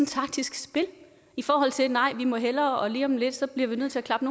taktisk spil i forhold til at nej vi må hellere og lige om lidt så bliver vi nødt til at klappe